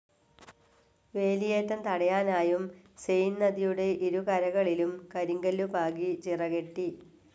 വേലിയേറ്റം തടയാനായും സീൻ നദിയുടെ ഇരുകരകളിലും കരിങ്കല്ലു പാകി ചിറകെട്ടി.